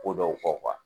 Ko dɔw kɔ